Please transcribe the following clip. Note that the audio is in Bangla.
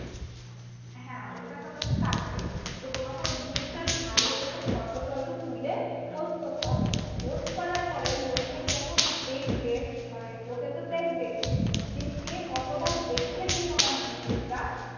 হ্যা ওটা তোমার কাটবে তো তোমাকে ওই জিনিস টা ভালো করে photo টটো তুলে post করতে হবে পোস্ট করার পরে লোকে যখন দেখবে মানে লোকে তো দেখবে যে কে কতবার দেখেছে তোমার জিনিস টা।